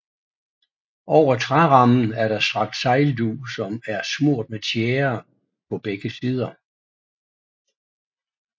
Over trærammen er der strakt sejldug som er smurt med tjære på begge sider